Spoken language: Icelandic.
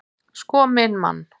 Sko minn mann!